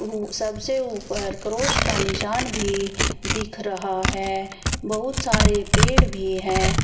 सबसे ऊपर क्रॉस का निशान भी दिख रहा है बहुत सारे पेड़ भी है।